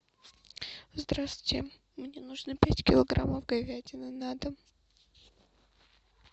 здравствуйте мне нужно пять килограммов говядины на дом